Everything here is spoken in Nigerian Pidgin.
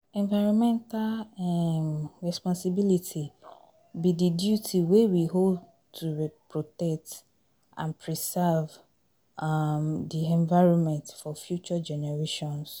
Environmental um responsibility be di duty wey we owe to protect and preserve um di environment for future generations.